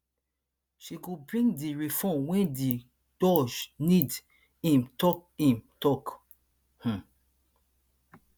she go bring di reform wey di doj need im tok im tok um